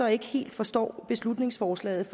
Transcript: ikke helt forstår beslutningsforslaget